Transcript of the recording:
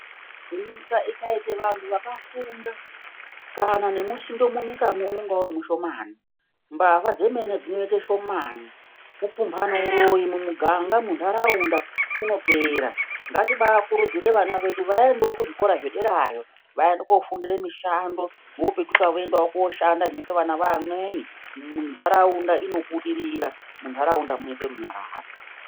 Nyika ikaita vantu vakafunda kana nemusindo munyika mwo unenge uri mushomani. Mbavha dzemene dzinoita shomani. Kupumhana uroyi mumuganga mwo, munharaunda unopera. Ngatibakurudzira vana vedu vaendewo kuzvikora zvedera yo. Vaende koofundira mushando voopetuka voenda koshanda zvinoita vana vevamweni. Nharaunda inobudirira, munharaunda munoita runyararo